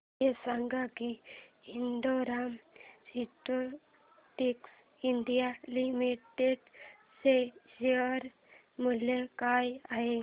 हे सांगा की Indo Rama synthetics India limited चे शेअर मूल्य काय आहे